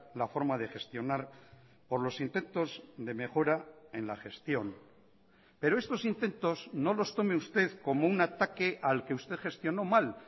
la forma de gestionar por los intentos de mejora en la gestión pero estos intentos no los tome usted como un ataque al que usted gestionó mal